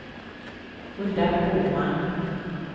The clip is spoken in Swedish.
Hulda Boman